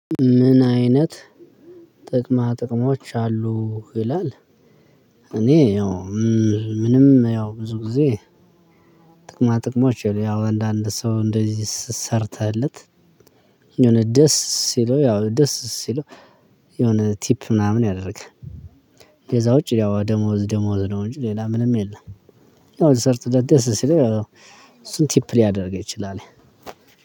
ምን አይነት ጥቅማ ጥቅሞች አሉ ይላል? እኔ ያው ምንም ያው ብዙጊዜ ጥቅማ ጥቅሞች የለውም ያው አንዳንድ ሰው እንደዚህ ሰርተህለት። የሆነ ደስ ሲለው ያው ደስ ሲለው የሆነ ቲፕ ምናምን ያደርጋል። ከዛ ውጪ ያው ደሞዝ ደሞዝ ነው እንጂ ሌላ ምንም የለም። ያው ሰርተህ ደስ ሲል እሱን ቲፕ ሊያደርግ ይችላል።